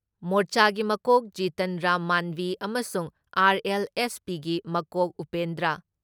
ꯃꯣꯔꯆꯥꯒꯤ ꯃꯀꯣꯛ ꯖꯤꯇꯟ ꯔꯥꯝ ꯃꯥꯟꯕꯤ ꯑꯃꯁꯨꯡ ꯑꯥꯔ.ꯑꯦꯜ.ꯑꯦꯁ.ꯄꯤꯒꯤ ꯃꯀꯣꯛ ꯎꯄꯦꯟꯗ꯭ꯔ